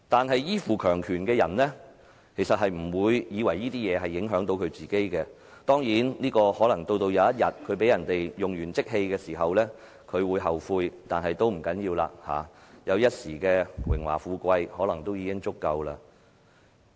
然而，依附強權的人就不認為這些事情會影響到自己，當然，可能到了某一天，他被人用完即棄時，才會後悔，但這已不要緊了，因為他覺得能享有一時的榮華富貴已足夠。